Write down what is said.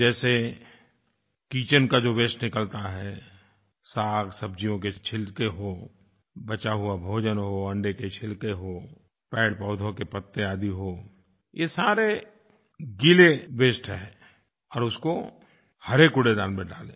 जैसे किचेन का जो वास्ते निकलता है सागसब्जियों के छिलके हों बचा हुआ भोजन हो अंडे के छिलके हों पेड़पौधों के पत्ते आदि हों ये सारे गीले वास्ते हैं और उसको हरे कूड़ेदान में डालें